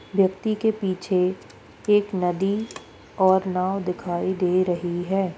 व्यक्ति के पीछे एक नदी और नाव दिखाई दे रही है।